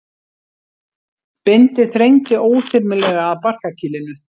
Bindið þrengdi óþyrmilega að barkakýlinu.